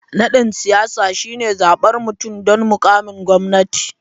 Nadin siyasa shine zabar mutum don mukamin gwamnati.